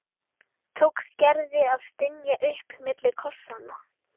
tókst Gerði að stynja upp milli kossanna.